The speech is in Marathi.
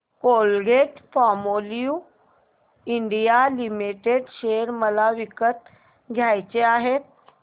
कोलगेटपामोलिव्ह इंडिया लिमिटेड शेअर मला विकत घ्यायचे आहेत